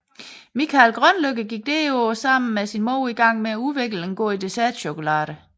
Mikael Grønlykke gik derpå sammen med sin mor i gang med at udvikle en god dessertchokolade